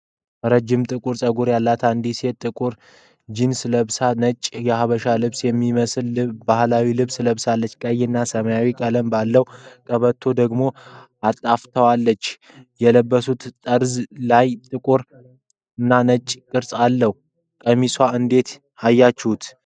ረዣዥም ጥቁር ፀጉር ያላት አንዲት ሴት ጥቁር ጂንስ ለብሳለች። ነጭ የሐበሻ ልብስ የሚመስል ባህላዊ ልብስ ለብሳለች፤ ቀይ እና ሰማያዊ ቀለም ባለው ቀበቶ ደግሞ አጣፍጣዋለች። የልብሱ ጠርዝ ላይ ጥቁር እና ነጭ ቅርጾች አሉ። ቀሚሷን እንዴት አያችሁት?